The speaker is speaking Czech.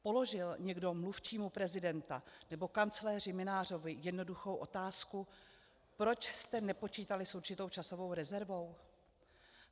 Položil někdo mluvčímu prezidenta nebo kancléři Mynářovi jednoduchou otázku: Proč jste nepočítali s určitou časovou rezervou?